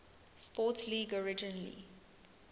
sports league originally